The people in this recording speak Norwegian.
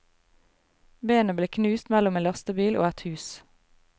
Benet ble knust mellom en lastebil og et hus.